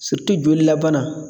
jolilabana